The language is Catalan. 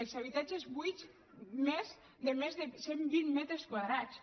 els habitatges buits de més de cent vint metres quadrats